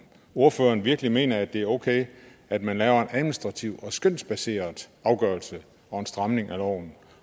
ordføreren virkelig mener at det er okay at man laver en administrativ og skønsbaseret afgørelse og en stramning af loven